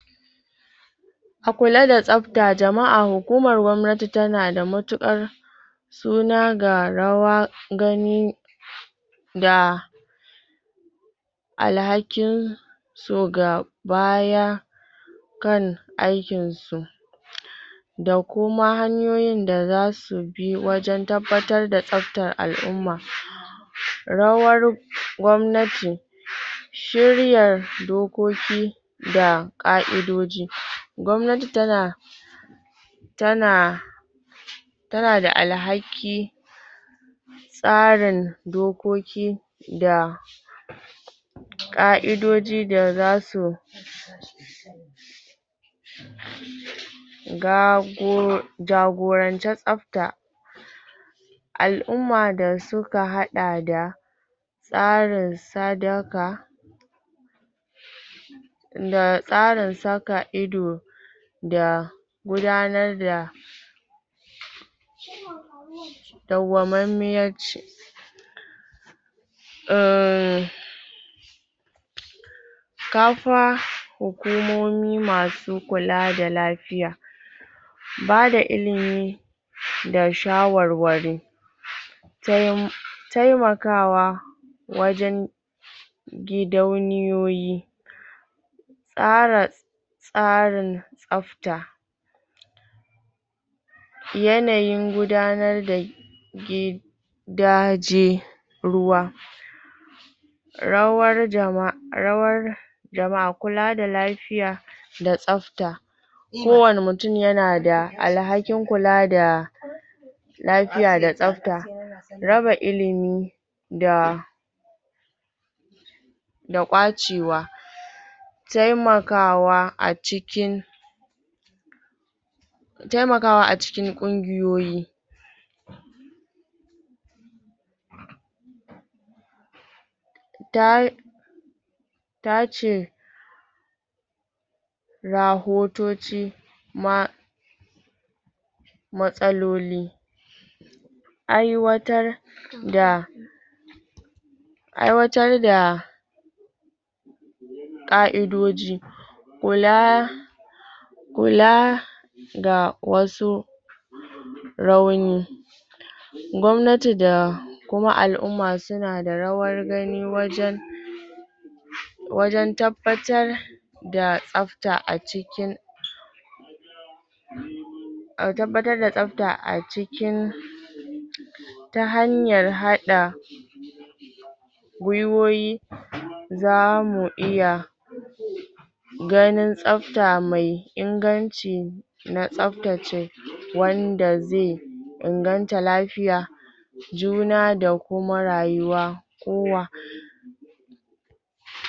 A kula da tsabta jama'a hukumar gwamnati tana da matukar suna ga rawa gani da alhakin to ga baya kan aikin su da kuma hanyoyin da zasu bi wajen tabbatar da tsabtar al'umma rawar gwamnati shiryar dokoki da ƙa'idoji gwamnati tana tana tana da alhaki tsarin dokoki da ƙa'idoji da zasu jagoranci tsabta al'umma da suka haɗa da tsarin sadaka da tsarin saka ido da gudanar da dauwamammiyar ci um, kafa hukumomi masu kula da lafiya bada ilimi da shawarwari taimakawa wajen gidauniyoyi tsara tsarin tsabta yanayin gudanar da gidaje ruwa rawar jama'a da ma kula da lafiya, da tsabta kowani mutun yana da alhakin kula da lafiya da tsabta raba ilimi da da kwacewa taimakawa a cikin taimakawa a cikin ƙungiyoyi ta tace rahotoci ma matsaloli aiwatar da aiwatar da ƙa'idoji kula kula da wasu rauni gwamnati da kuma al'umma suna da rawar gani wajen wajen tabbatar da tsabta a jikin tabbatar da tsabta a cikin ta hanyar haɗa gwuiwoyi zamu iya ganin tsabta mai inganci na tsabtace wanda zai inganta lafiya juna da kuma rayuwa kowa.